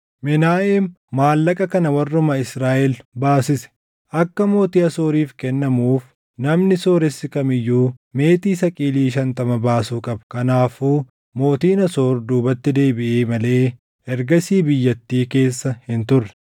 Menaaheem maallaqa kana warruma Israaʼel baasise. Akka mootii Asooriif kennamuuf namni sooressi kam iyyuu meetii saqilii shantama baasuu qaba. Kanaafuu mootiin Asoor duubatti deebiʼee malee ergasii biyyattii keessa hin turre.